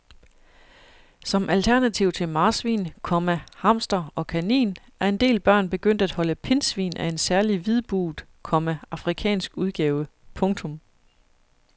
Som alternativ til marsvin, komma hamster og kanin er en del børn begyndt at holde pindsvin af en særlig hvidbuget, komma afrikansk udgave. punktum